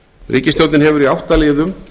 ríkisstjórnin eftir í átta liðum